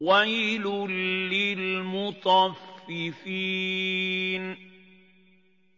وَيْلٌ لِّلْمُطَفِّفِينَ